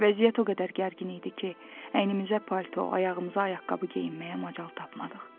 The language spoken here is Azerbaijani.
Vəziyyət o qədər gərgin idi ki, əynimizə palto, ayağımıza ayaqqabı geyinməyə macal tapmadıq.